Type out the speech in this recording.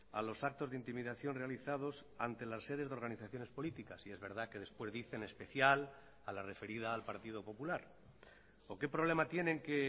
a los actos de intimidación realizados ante las sedes de organizaciones políticas y es verdad que después dice en especial a la referida al partido popular o que problema tienen que